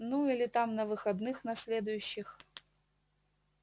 ну или там на выходных на следующих